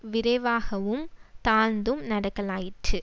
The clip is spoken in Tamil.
விரைவாகவும் தாழ்ந்தும் நடக்கலாயிற்று